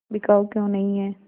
बिकाऊ क्यों नहीं है